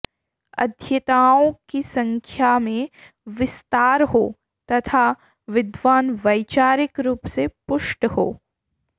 अध्येताओं की संख्या में विस्तार हो तथा विद्वान् वैचारिक रूप से पुष्ट हों